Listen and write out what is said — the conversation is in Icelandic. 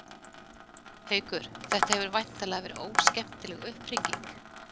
Haukur: Þetta hefur væntanlega verið óskemmtileg upphringing?